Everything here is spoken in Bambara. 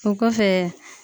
O kɔfɛ